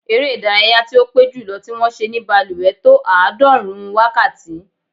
Eré ìdárayá tí ó pé jùlọ tí wọ́n ṣe ní balùwẹ̀ tó àádọ́rùn-ún wákàtí.